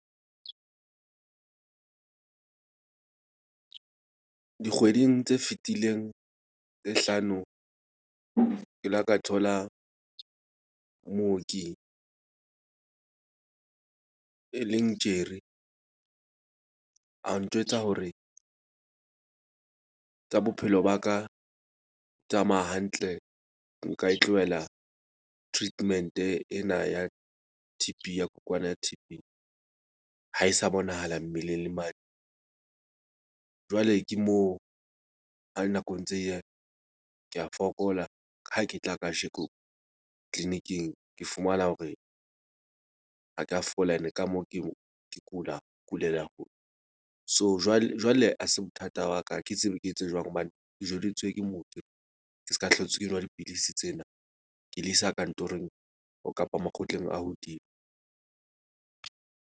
Dikgweding tse fetileng tse hlano ke la ka thola mooki e leng a ntjwetsa hore tsa bophelo ba ka, tsamaya hantle nka e tlohela treatment-e ena ya T_B ya kokwana ya ha e sa bonahala mmeleng le mane. Jwale ke moo ha nako ntse e ya ka fokola. Ha ke tla kajeko clinic-ing ke fumana hore ha ke a fola ene ka moo, ke kula ke kulela . So jwale ha se bothata ba ka. Ha ke tsebe ke etse jwang hobane ke jweditswe ke ke ska hlotse, ke nwa dipidisi tsena ke le isa kantorong kapa makgotleng a hodimo.